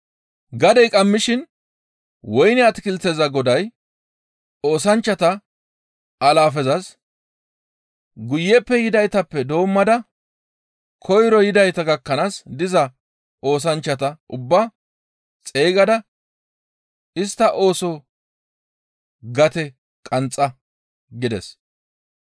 «Gadey qammishin woyne atakilteza goday oosanchchata alaafezas, ‹Guyeppe yidaytappe doommada koyro yidayta gakkanaas diza oosanchchata ubbaa xeygada istta ooso gate qanxxa› gides.